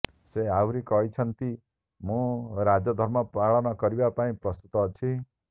ସେ ଆହୁରି କହିଛନ୍ତି ମୁଁ ରାଜଧର୍ମ ପାଳନ କରିବା ପାଇଁ ପ୍ରସ୍ତୁତ ଅଛି